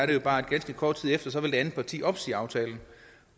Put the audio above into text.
jo bare at ganske kort tid efter vil det andet parti opsige aftalen